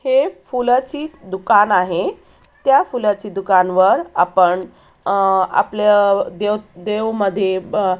हे फुलाची दुकान आहे त्या फुलाची दुकान वर आपण आ आपल्या देव देव मधे ब--